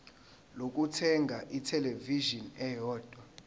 lokuthenga ithelevishini eyodwa